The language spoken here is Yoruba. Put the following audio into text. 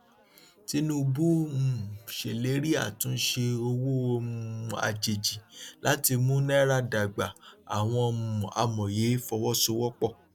tinubu um ṣèlérí àtúnṣe owó um àjèjì láti mú náírà dágbà àwọn um amòye fọwọsowọpọ